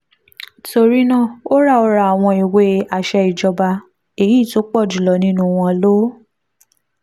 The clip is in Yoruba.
torí náà ó ra ó ra àwọn ìwé àṣẹ ìjọba èyí tó pọ̀ jù lọ nínú wọn ló